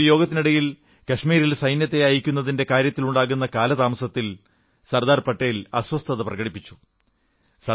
ഒരു യോഗത്തിനിടയിൽ കശ്മീരിൽ സൈന്യത്തെ അയയ്ക്കുന്നതിന്റെ കാര്യത്തിലുണ്ടാകുന്ന കാലതാമസത്തിൽ സർദാർ പട്ടേൽ അസ്വസ്ഥത പ്രകടിപ്പിച്ചു